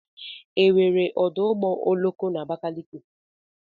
Enwere ọdụ ụgbọ oloko na Abakaliki?